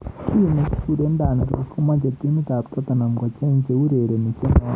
Chi nekikure Danny Rose komeche timit ab Tottenham kocheng cheurereni chenootin.